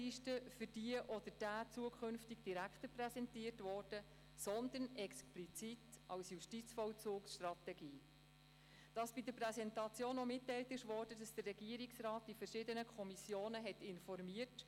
Die grüne Fraktion unterstützt die Motion, die die Justizvollzugsstrategie im Grossen Rat behandelt haben möchte.